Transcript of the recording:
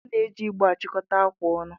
A na-eji igbe achịkọta akwa ọnụ.